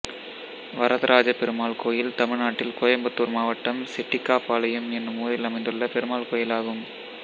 வரதராஜப் பெருமாள் கோயில் தமிழ்நாட்டில் கோயம்புத்தூர் மாவட்டம் செட்டிக்காபாளையம் என்னும் ஊரில் அமைந்துள்ள பெருமாள் கோயிலாகும்